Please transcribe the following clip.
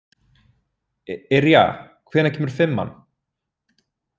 Yrja, hvenær kemur fimman?